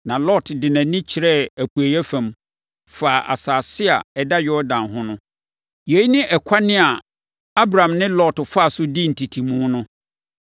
Na Lot de nʼani kyerɛɛ apueeɛ fam, faa asase a ɛda Yordan ho no. Yei ne ɛkwan a Abram ne Lot faa so dii ntetemu no.